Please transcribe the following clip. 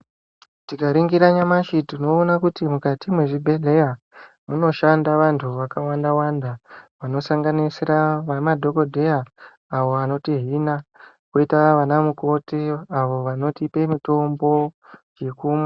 Tikaringira nyamashi tinoona kuti mukati mwezvibhedhleya munoshanda vanthu vakawanda wanda vanosanganisira madhokodheya awo vanotihina koita vanamukoti awo vanotipe mitombo yekumwa.